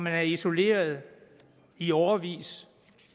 er isoleret i årevis